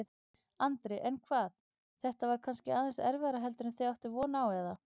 Andri: En hvað, þetta var kannski aðeins erfiðara heldur en þið áttuð von á, eða?